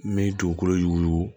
N bɛ dugukolo yugu